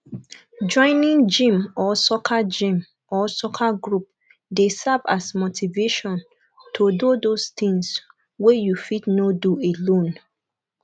joining gym or soccer gym or soccer group dey serve as motivation to do those things wey you fit no do alone